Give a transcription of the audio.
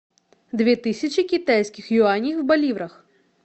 две тысячи китайских юаней в боливарах